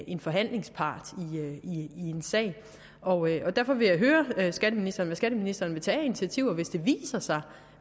en forhandlingspart i en sag derfor vil jeg høre skatteministeren skatteministeren vil tage af initiativer hvis det viser sig